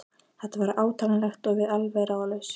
Þetta var átakanlegt og við alveg ráðalaus.